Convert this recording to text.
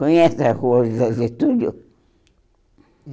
Conhece a Rua José Getúlio?